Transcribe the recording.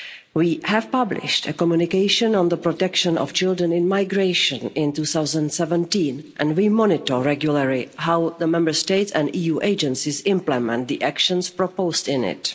We published a communication on the protection of children in migration in 2017 and we monitor regularly how the Member States and EU agencies implement the actions proposed in it.